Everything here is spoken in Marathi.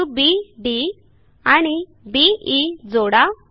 बिंदू बी डी आणि बी ई जोडा